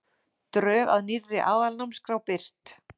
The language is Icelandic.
Drög að nýrri aðalnámskrá birt